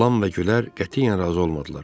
Lam və Gülər qətiyyən razı olmadılar.